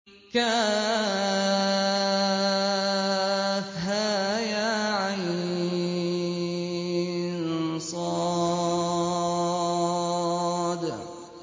كهيعص